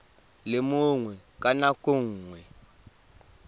le mongwe ka nako nngwe